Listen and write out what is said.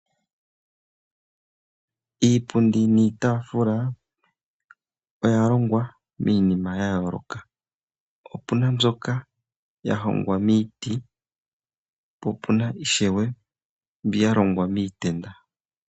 Iipundi niitafula oya longwa miinima yooloka. Opuna mbyoka yahongwa miiti po ishewe opuna mbyoka ya longwa miitenda.